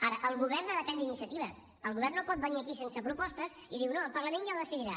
ara el govern ha de prendre iniciatives el govern no pot venir aquí sense propostes i diu no el parlament ja ho decidirà